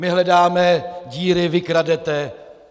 My hledáme díry, vy kradete...